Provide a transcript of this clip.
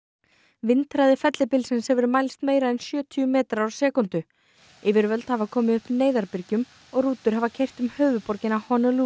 vindhraði fellibylsins hefur mælst meira en sjötíu metrar á sekúndu yfirvöld hafa komið upp og rútur hafa keyrt um höfuðborgina